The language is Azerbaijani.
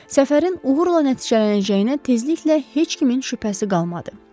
Səfərin uğurla nəticələnəcəyinə tezliklə heç kimin şübhəsi qalmadı.